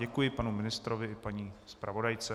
Děkuji panu ministrovi i paní zpravodajce.